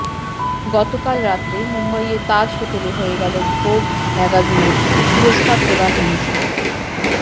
গতকাল রাতে মুম্বইয়ের তাজ হোটেলে হয়ে গেল ভোগ ম্যাগাজিনের পুরস্কার প্রদান অনুষ্ঠান